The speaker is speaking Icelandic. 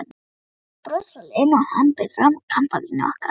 Eitt bros frá Lenu og hann bauð fram kampavínið okkar.